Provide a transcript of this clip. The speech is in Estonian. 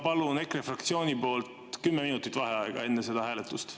Palun EKRE fraktsiooni poolt 10 minutit vaheaega enne seda hääletust.